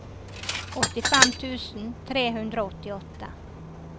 åttifem tusen tre hundre og åttiåtte